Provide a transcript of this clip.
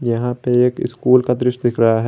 यहां पे एक स्कूल का दृश्य दिख रहा है।